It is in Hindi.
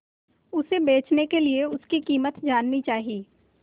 उसे बचने के लिए उसकी कीमत जाननी चाही